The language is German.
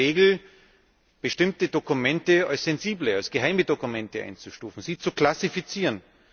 die Regel, bestimmte Dokumente als sensible, geheime Dokumente einzustufen, sie zu klassifizieren.